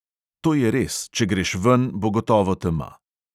To je res, če greš ven, bo gotovo tema.